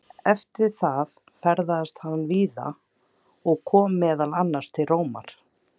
Eftir það ferðaðist hann víða og kom meðal annars til Rómar.